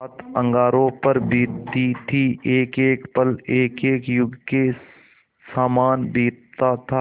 रात अंगारों पर बीतती थी एकएक पल एकएक युग के सामान बीतता था